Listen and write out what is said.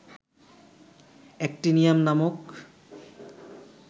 actinium নামক